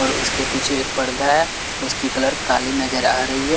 और उसके पीछे एक पर्दा है उसकी कलर काली नजर आ रही है।